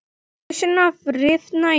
Hausinn að rifna í sundur.